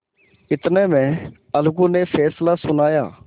इतने में अलगू ने फैसला सुनाया